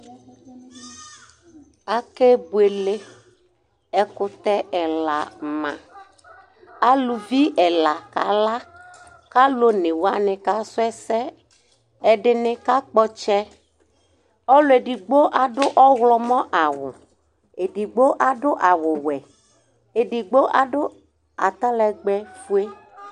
Aƙéɓʊɛlé, ɛƙʊte ɛla ma , aluvɩ ɛla ƙala ƙalu oŋé wanɩ ƙasu ɛsɛ, ɛɖiŋɩ ƙakpɔ ɔtsɛ Ɔlʊ éɖɩɣɓo aɖʊ ɔwlɔmɔ awʊ, éɖiɣɓo awu mɛ, éɖiɣbo aɖʊ atalègbɛ ƒoé